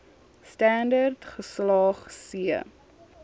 standerd geslaag c